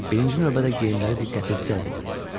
Birinci növbədə geyimləri diqqəti cəlb edirdi.